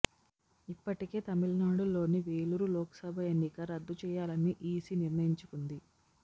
ఇప్పటికే తమిళనాడులోని వేలూరు లోక్సభ ఎన్నిక రద్దు చేయాలని ఈసి నిర్ణయించుకుంది